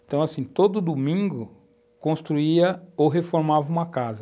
Então, assim, todo domingo construía ou reformava uma casa.